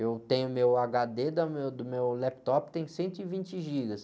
Eu tenho meu agá-dê da meu, do meu laptop tem cento e vinte gigas.